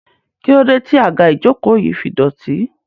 kílódé tí àga ìjokòó yìí fi dọ̀tí?